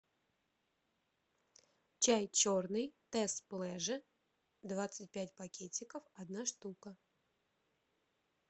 чай черный тесс плеже двадцать пять пакетиков одна штука